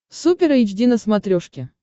супер эйч ди на смотрешке